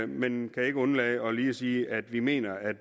men vil ikke undlade lige at sige at vi mener at